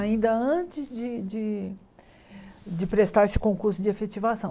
Ainda antes de de prestar esse concurso de efetivação.